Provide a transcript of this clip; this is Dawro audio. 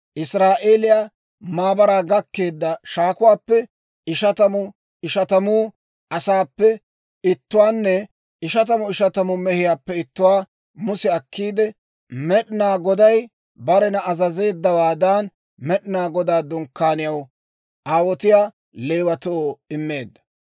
Israa'eeliyaa maabaraa gakkeedda shaakuwaappe ishatamu ishatamu asaappe ittuwaanne ishatamu ishatamu mehiyaappe ittuwaa Muse akkiide, Med'inaa Goday barena azazeeddawaadan, Med'inaa Godaa Dunkkaaniyaw aawotiyaa Leewatoo immeedda.